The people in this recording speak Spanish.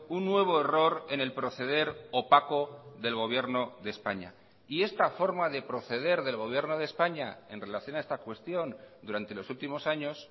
un nuevo error en el proceder opaco del gobierno de españa y esta forma de proceder del gobierno de españa en relación a esta cuestión durante los últimos años